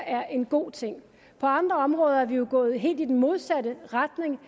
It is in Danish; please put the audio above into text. er en god ting på andre områder er vi jo gået helt i den modsatte retning